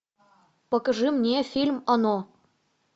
покажи мне фильм оно